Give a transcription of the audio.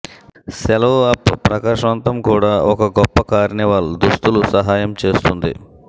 సెలవు అప్ ప్రకాశవంతం కూడా ఒక గొప్ప కార్నివాల్ దుస్తులు సహాయం చేస్తుంది